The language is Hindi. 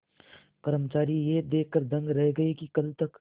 कर्मचारी यह देखकर दंग रह गए कि कल तक